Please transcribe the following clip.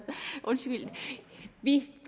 vi